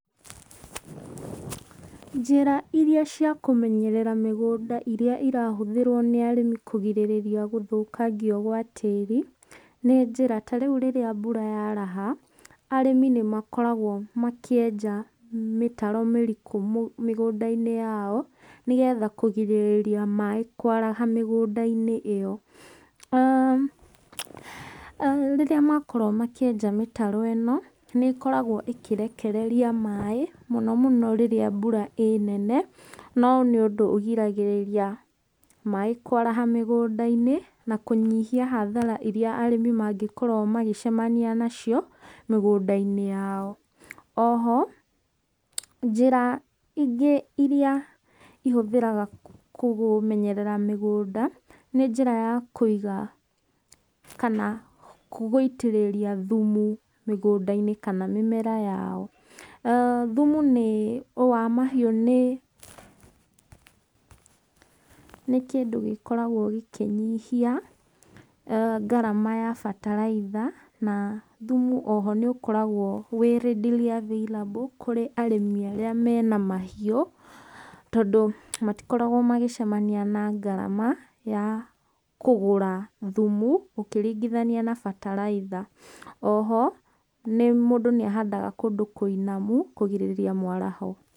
Njĩra iria cia kũmenyerera mĩgũnda iria irahũthĩrwo nĩ arĩmi kũrigĩrĩrĩa gũthũkangio gwa tĩri, nĩ njĩra, ta rĩu rĩrĩa mbura yaraha, arĩmi nĩ makoragwo makĩenja mĩtaro mĩriku mĩgũnda-inĩ yao, nĩgetha kũgĩrĩrĩria maaĩ kwaraha mĩgũnda-inĩ ĩyo. aah Rĩrĩa makorwo makĩenja mĩtaro ĩno, nĩĩkoragwo ĩkĩrekereria maaĩ, mũno mũno rĩrĩa mbura ĩnene, no nĩ ũndũ ũrigagĩrĩria maaĩ kwaraha mĩgũnda-inĩ, na kũnyihia hathara iria arĩmi mangĩkorwo magĩcemania nacio, mĩgũnda-inĩ yao. Oho, njĩra ingĩ iria ihũthĩraga kũmenyerera mĩgũnda, nĩ njĩra ya kũiga, kana gũitĩrĩria thumu mĩgũnda-inĩ, kana mĩmera yao. Thumu nĩ wa mahiũ nĩ kĩndũ gĩkoragwo gĩkĩnyihia, ngarama ya bataraitha, na thumu oho nĩ ũkoragwo wĩ readily available kũrĩ arĩmi arĩa mena mahiũ, tondũ matikoragwo magĩcemania na ngarama ya kũgũra thumu ũkĩringĩthania na bataraitha. Oho, mũndũ nĩ ahandaga kũndũ kũinamo, kũrigĩrĩria mwaraho.